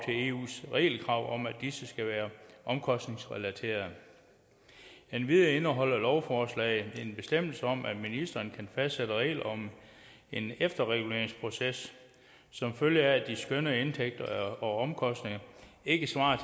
eus regelkrav om at disse skal være omkostningsrelaterede endvidere indeholder lovforslaget en bestemmelse om at ministeren kan fastsætte regler om en efterreguleringsproces som følge af at de skønnede indtægter og omkostninger ikke svarer